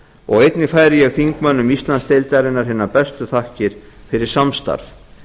og einnig færi ég þingmönnum íslandsdeildarinnar hinar bestu þakkir fyrir samstarf